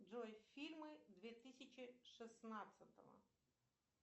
джой фильмы две тысячи шестнадцатого